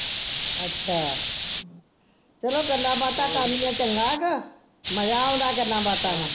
ਅੱਛਾ ਚਲੋ ਗੱਲਾਂ ਬਾਤਾਂ ਕਰਨੀਆਂ ਚੰਗਾ ਗਾ, ਮਜ਼ਾ ਆਉਂਦਾ ਗੱਲਾਂ ਬਾਤਾਂ ਨਾਲ